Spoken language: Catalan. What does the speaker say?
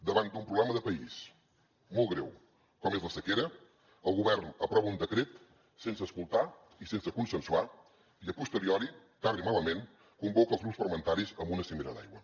davant d’un problema de país molt greu com és la sequera el govern aprova un decret sense escoltar i sense consensuar i a posteriori tard i malament convoca els grups parlamentaris a una cimera d’aigua